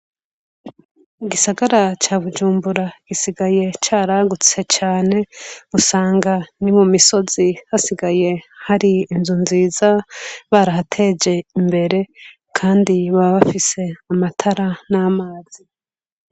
U gisagara ca bujumbura gisigaye caragutse cane usanga ni mu misozi hasigaye hari inzu nziza barahateje imbere, kandi baba bafise amatara n'amazi.